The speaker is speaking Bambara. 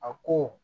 A ko